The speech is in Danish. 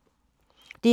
DR2